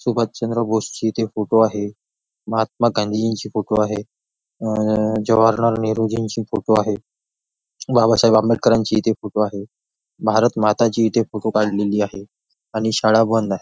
सुभाषचंद्र बोस चे फोटो आहे महात्मा गांधीजींचे फोटो आहेत अं जवाहरलाल नेहरूजींचे फोटो आहेत बाबासाहेब आंबेडकरांची इथे फोटो आहेत भारतमातांची इथे फोटो काढलेली आहे आणि शाळा बंद आहे.